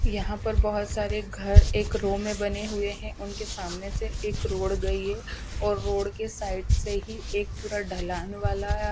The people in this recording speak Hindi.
यहाँ पर बहुत सारे घर एक रो में बने हुए हैं उनके सामने से एक रोड गई है और रोड के साइड से ही एक पूरा ढलान वाला --